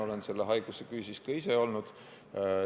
Olen selle haiguse küüsis ka ise olnud.